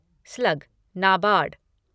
slug NABARD